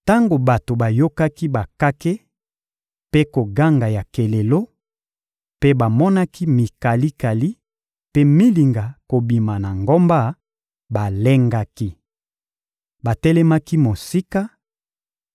Tango bato bayokaki bakake mpe koganga ya kelelo, mpe bamonaki mikalikali mpe milinga kobima na ngomba, balengaki. Batelemaki mosika